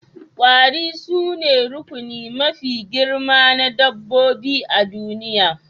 Kwari sune rukuni mafi girma na dabbobi a duniya